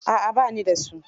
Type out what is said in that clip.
A'a ba ni da su.